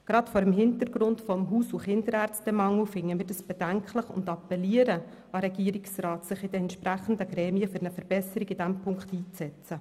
Gerade vor dem Hintergrund des Haus- und Kinderärztemangels finden wir das bedenklich und appellieren an den Regierungsrat, sich in den entsprechenden Gremien für eine Verbesserung in diesem Punkt einzusetzen.